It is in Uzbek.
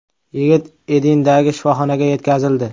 Yigit Edindagi shifoxonaga yetkazildi.